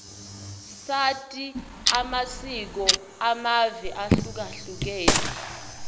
sati amasiko amave ahlukahlukene